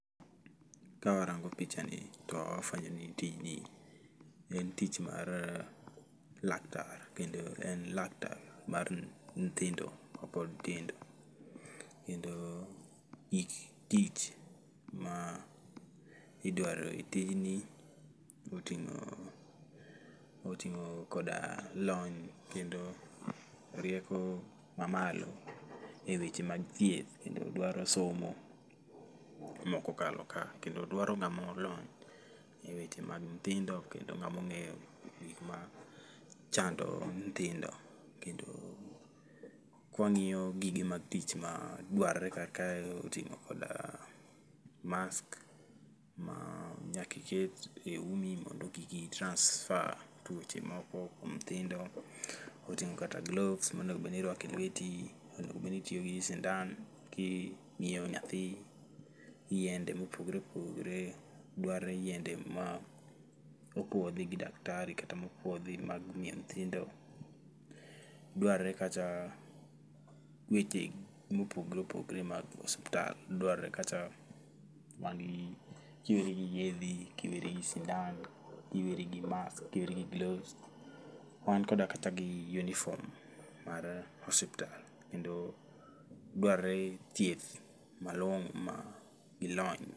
Kawarango pichani to wafwenyo ni tijni en tich mar laktar kendo en laktar mar nthindo mapod tindo kendo gik tich ma idwaro e tijni oting'o koda lony kendo rieko mamalo e weche mag thieth kendo dwaro somo mokokalo ka kendo dwaro ng'amo lony e weche mag nthindo kendo ng'amoong'eyo gik ma chando nthindo kendo kwang'iyo gige mag tich madwarre ka oting'o koda mask ma nyaka iket e umi mondo kik i transfer tuoche moko kuom nthindo. Otingo' kata gloves monego bedni irwako e lweti, onego bedni itiyo gi sindan kimiyo nyathi yiende mopogore opogore, dwarore yiende ma opuodhi gi daktari kata mopuodhi mimiyo nthindo. Dwarre kata weche mopogre opogre mag osuptal dwarre kata wantiere gi yedhe kiweri gi sindan kiweri gi mask kiweri gi gloves wan koda kata gi yunifom mar osuptal kendo dwarre chieth malong'o ma ilonye.